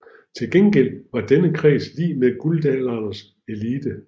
Til gengæld var denne kreds lig med Guldalderens elite